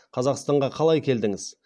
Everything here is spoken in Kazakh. өзіңіз украина жақтың тумасы екенсіз